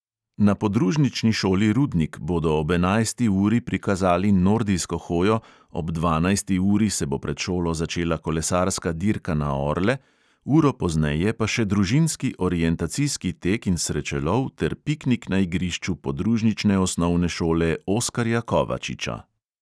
Na podružnični šoli rudnik bodo ob enajsti uri prikazali nordijsko hojo, ob dvanajsti uri se bo pred šolo začela kolesarska dirka na orle, uro pozneje pa še družinski orientacijski tek in srečelov ter piknik na igrišču podružnične osnovne šole oskarja kovačiča.